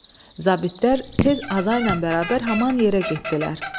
Zabitlər tez Azayla bərabər həmin yerə getdilər.